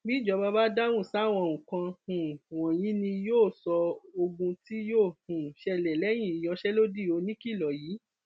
bíjọba bá dáhùn sáwọn nǹkan um wọnyí ni yóò sọ ogún tí yóò um ṣẹlẹ lẹyìn ìyanṣẹlódì oníkìlọ yìí